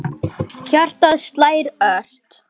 Hjartað slær ört.